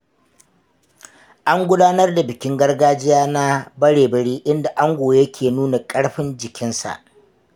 An gudanar da bikin gargajiya na Barebari inda ango yake nuna ƙarfin jikinsa.